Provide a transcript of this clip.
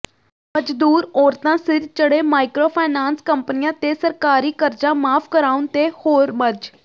ਮਜ਼ਦੂਰ ਔਰਤਾਂ ਸਿਰ ਚੜੇ ਮਾਈਕਰੋ ਫਾਇਨਾਂਸ ਕੰਪਨੀਆਂ ਤੇ ਸਰਕਾਰੀ ਕਰਜ਼ਾ ਮਾਫ ਕਰਾਉਣ ਤੇ ਹੋਰ ਮਜ਼